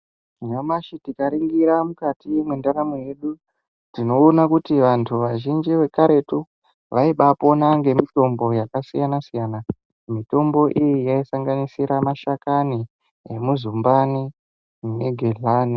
Nyamashi tikaningira mukati mwendaramo yedu tinoona kuti vantu vazhinji vekaretu vaibapona ngemitombo yakasiyana siyana, mitombo iyi yaisanganisira mashakani emuzumbani negihlani.